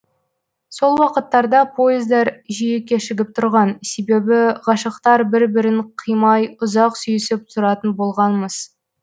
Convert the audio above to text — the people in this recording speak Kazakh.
сол уақыттарда поездар жиі кешігіп тұрған себебі ғашықтар бір бірін қимай ұзақ сүйісіп тұратын болған мыс